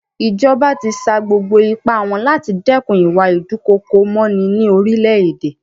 Ìjọba ti sa gbogbo ipá wọn láti dẹ́kun ìwà ìdúkookòmọní ní orílẹ̀-èdè.